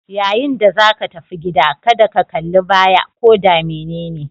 Yayin da zaka tafi gida, kada ka kallibaya ko da menene